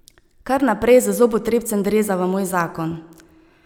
Kar naprej z zobotrebcem dreza v moj zakon.